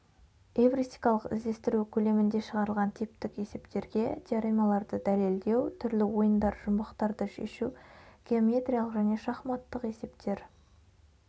эвристикалық іздестіру көлемінде шығарылған типтік есептерге теоремаларды дәлелдеу түрлі ойындар жұмбақтарды шешу геометриялық және шахматтық есептер